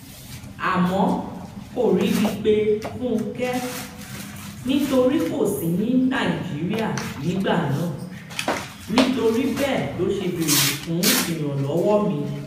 a mọ koribi pe Funkẹ nitori ko si ni naijiria nigbana nitori bẹẹ loṣe bere fun iranlọwọ mi